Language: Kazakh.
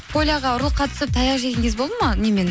поляға ұрлыққа түсіп таяқ жеген кез болды ма немен